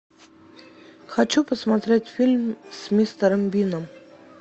хочу посмотреть фильм с мистером бином